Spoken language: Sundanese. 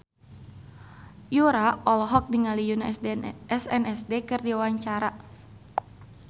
Yura olohok ningali Yoona SNSD keur diwawancara